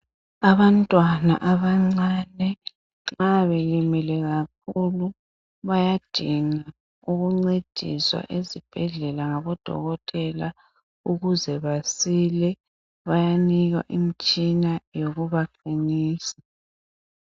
Abantwana abancane bayabe belimele kakhulu bayadinga ukuncediswa esibhedlela ngabodokotela ukuze basile bayanikwa imitshina yokubaqinisa.